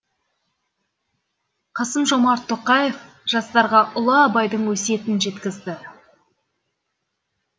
қасым жомарт тоқаев жастарға ұлы абайдың өсиетін жеткізді